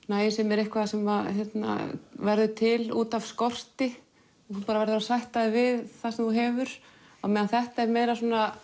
nægjusemi er eitthvað sem verður til út af skorti þú bara verður að sætta þig við það sem þú hefur á meðan þetta er meira